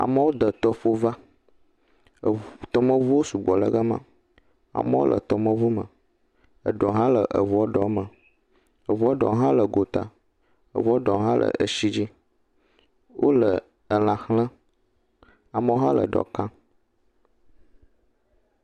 Amewo de tɔƒo va, eŋŋŋ,, tɔmeŋuwo sugbɔ le gama, amewo le tɔmeŋume, eɖewo hã le eŋua ɖewo me, eŋua ɖewo hã le gota, ɖewo hã le eshi dzi, wole elã xlẽm, eɖewo hã le eɖɔ kam.